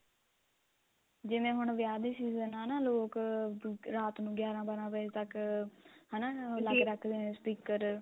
ਜਿਵੇਂ ਹੁਣ ਵਿਆਹ ਦੇ season ਆ ਨਾ ਲੋਕ ਰਾਤ ਨੂੰ ਗਿਆਰਾ ਬਾਰਾਂ ਵਜੇ ਤੱਕ ਹਨਾ ਲਾਕੇ ਰੱਖਦੇ ਨੇ speaker